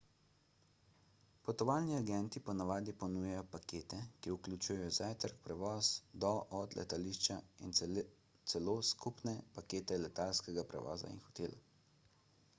potovalni agenti po navadi ponujajo pakete ki vključujejo zajtrk prevoz do/od letališča in celo skupne pakete letalskega prevoza in hotela